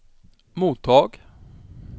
mottag